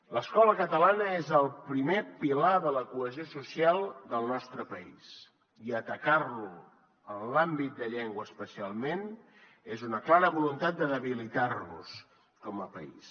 l’escola catalana és el primer pilar de la cohesió social del nostre país i atacar lo en l’àmbit de llengua especialment és una clara voluntat de debilitar nos com a país